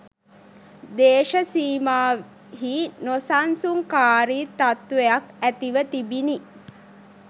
දේශසීමාහි නොසන්සුන්කාරී තත්ත්වයක් ඇතිව තිබිණි